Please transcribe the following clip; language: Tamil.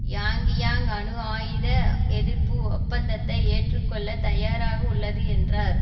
யாங்கியாங் அணு ஆயுத எதிர்ப்பு ஒப்பந்தத்தை ஏற்றுக்கொள்ள தயாராக உள்ளது என்றார்